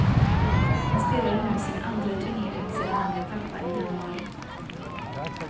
Han spelade nu sin andra turnering sedan han blev pappa i januari.